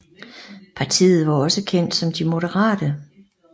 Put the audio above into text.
Partiet var også kendt som De Moderate